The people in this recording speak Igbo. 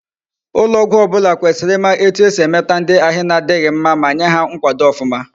Ulo ogwu obula kwesiri ima etu esi emeta ndi ahi na difhi mma, ma Nye ha nkwado ofuma